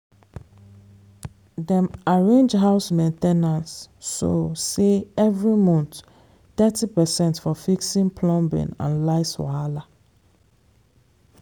dem arrange house main ten ance so sey every month thirty percent for fixing plumbing and lights wahala.